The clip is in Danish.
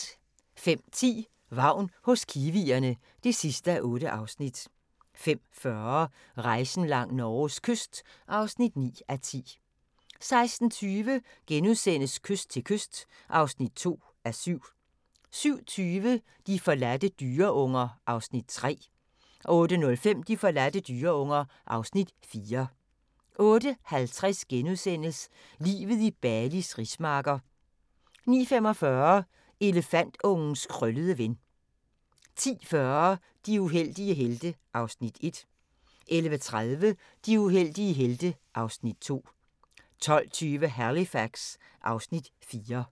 05:10: Vagn hos kiwierne (8:8) 05:40: Rejsen langs Norges kyst (9:10) 06:20: Kyst til kyst (2:7)* 07:20: De forladte dyreunger (Afs. 3) 08:05: De forladte dyreunger (Afs. 4) 08:50: Livet i Balis rismarker * 09:45: Elefantungens krøllede ven 10:40: De uheldige helte (Afs. 1) 11:30: De uheldige helte (Afs. 2) 12:20: Halifax (Afs. 4)